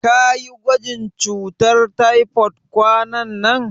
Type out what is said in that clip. Kayi gwajin cutar taifod kwananan?